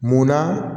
Munna